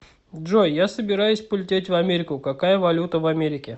джой я собираюсь полететь в америку какая валюта в америке